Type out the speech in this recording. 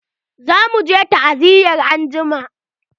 Za muje ta'aziya angima.